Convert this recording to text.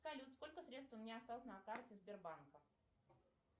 салют сколько средств у меня осталось на карте сбербанка